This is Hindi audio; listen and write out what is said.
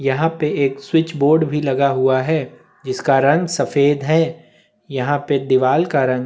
यहाँ पर एक स्विच बोर्ड भी लगा हुआ है जिसका रंग सफेद है यहाँ पर दीवाल का रंग--